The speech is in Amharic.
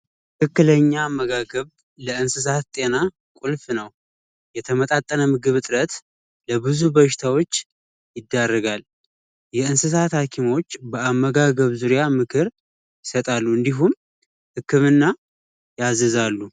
ትክክለኛ አመጋገብ ለእንስሳት ጤና ቁልፍ ነው የተመጣጠነ ምግብ እጥረት በብዙ በሽታዎች ያረጋል የእንስሳት ሀኪሞች በአመጋገብ ዙሪያ ምክር አሉ እንዲሁም ህክምና ያዘዛሉ